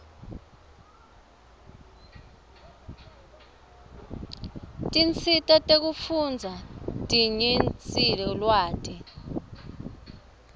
tiscsita kufundza dinyenise lwati